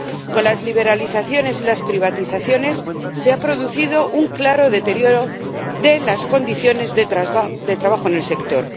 Con las liberalizaciones y las privatizaciones se ha producido un claro deterioro de las condiciones de trabajo en el sector.